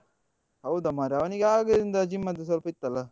ಹೌದಾ ಮಾರೆ? ಅವನಿಗೆ ಆಗಲಿಂದ gym ಅದ್ದು ಸ್ವಲ್ಪ ಇತ್ತಲ್ಲಾ?